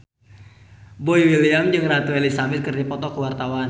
Boy William jeung Ratu Elizabeth keur dipoto ku wartawan